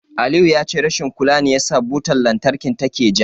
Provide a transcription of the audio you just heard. Aliyu ya ce rashin kula ne yasa butar lantarkin take ja.